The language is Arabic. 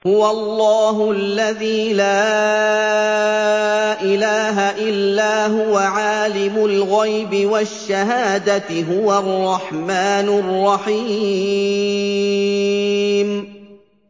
هُوَ اللَّهُ الَّذِي لَا إِلَٰهَ إِلَّا هُوَ ۖ عَالِمُ الْغَيْبِ وَالشَّهَادَةِ ۖ هُوَ الرَّحْمَٰنُ الرَّحِيمُ